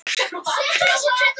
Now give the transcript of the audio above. En það breytist.